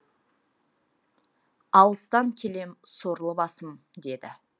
алыстан келем сорлы басым деді